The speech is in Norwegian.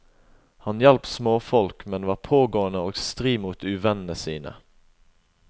Han hjalp småfolk, men var pågående og stri mot uvennene sine.